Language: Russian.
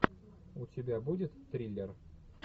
у тебя будет триллер